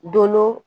Doolo